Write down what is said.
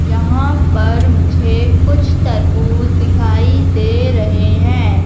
यहां पर मुझे कुछ तरबूज दिखाई दे रहें हैं।